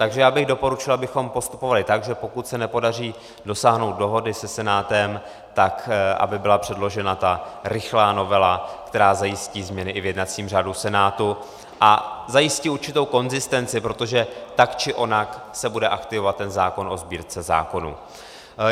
Takže já bych doporučil, abychom postupovali tak, že pokud se nepodaří dosáhnout dohody se Senátem, tak aby byla předložena ta rychlá novela, která zajistí změny i v jednacím řádu Senátu a zajistí určitou konzistenci, protože tak či onak se bude aktivovat ten zákon o Sbírce zákonů.